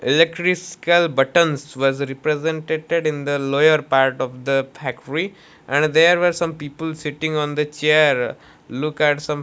eletriscal buttons was representeted in the lower part of the factory and there were some people sitting on the chair look at some--